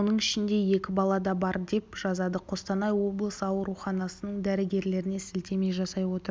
соның ішінде екі бала да бар деп жазады қостанай облысы ауруханасның дәрігерлеріне сілтеме жасай отырып